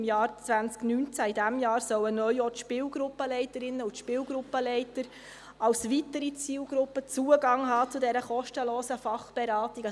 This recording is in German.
Im Jahr 2019, also im laufenden Jahr, sollen neu auch die Spielgruppenleiterinnen und Spielgruppenleiter als weitere Zielgruppe Zugang zu dieser kostenlosen Fachberatung haben.